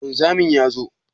Wanzamin ya zo?